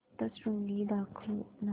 सप्तशृंगी दाखव ना